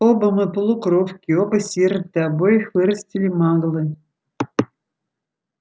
оба мы полукровки оба сироты обоих вырастили маглы